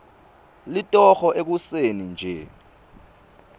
litoho ekuseni nje